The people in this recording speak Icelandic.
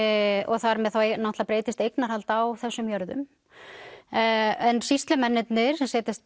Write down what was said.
þar með náttúrulega breytist eignarhald á þessum jörðum en sýslumennirnir